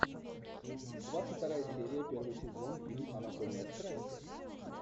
двадцать вторая серия первый сезон фильм анатомия страсти